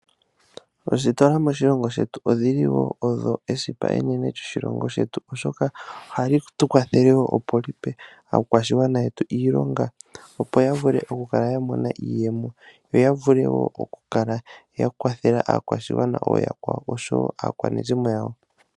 Oositola moshilongo shetu odhili woo odho esipa enene lyo shilongo shetu, oshoka ohadhi tukwathele woo opo dhipe aakwashigwana yetu iilonga opo yavule okukala yamona iiyemo, yo yavule woo okukala ya kwathela aakwashigwana oya kwawo osho woo aakwanezimo yawo.